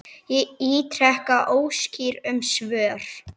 Ég ítreka óskir um svör.